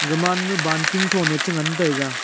ga man ma baltin ton e che ngan taiga .